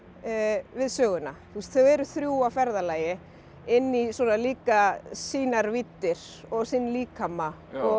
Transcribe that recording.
við söguna þau eru þrjú á ferðalagi inn í svona líka sínar víddir og sinn líkama og